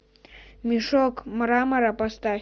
мешок мрамора поставь